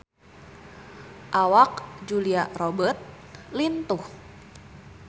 Awak Julia Robert lintuh